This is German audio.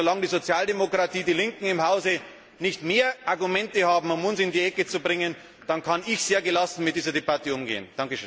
Solange die Sozialdemokratie, die Linken im Hause, nicht mehr Argumente haben, um uns in die Ecke zu bringen, kann ich sehr gelassen mit dieser Debatte umgehen!